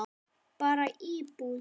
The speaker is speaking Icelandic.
Bara íbúð.